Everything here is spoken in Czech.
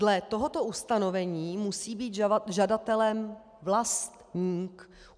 Dle tohoto ustanovení musí být žadatelem vlastník.